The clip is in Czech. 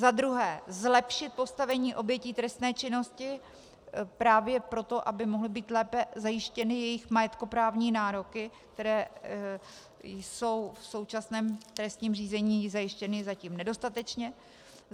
za druhé, zlepšit postavení obětí trestné činnosti právě proto, aby mohly být lépe zajištěny jejich majetkoprávní nároky, které jsou v současném trestním řízení zajištěny zatím nedostatečně;